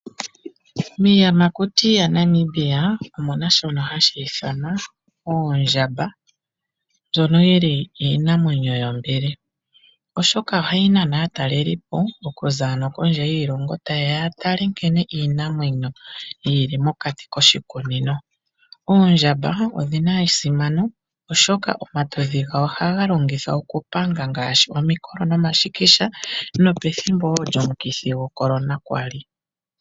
Miiyamakuti yaNamibia omuna shono hashi ithanwa oondjamba ndjono yili iinamwenyo yombili, oshoka ohayi nana aatalelipo okuza ano kondje yiilongo tayeya ya tale nkene iinamwenyo yili mokati koshikunino. Oondjamba odhina esimano, oshoka omatudhi gawo ohaga longithwa okupanga ngaashi omikolo nomashikisha nopethimbo woo lyomukithi gwoCorona kwali.